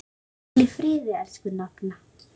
Hvíl í friði, elsku nafna.